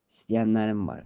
İstəyənlərim var.